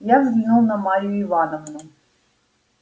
я взглянул на марью ивановну